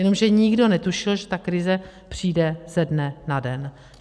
Jenomže nikdo netušil, že ta krize přijde ze dne na den.